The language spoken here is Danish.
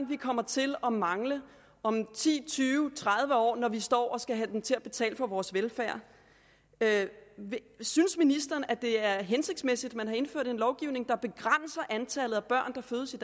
vi kommer til at mangle om ti tyve tredive år når vi står og skal have dem til at betale for vores velfærd synes ministeren at det er hensigtsmæssigt at man har indført en lovgivning der begrænser antallet af børn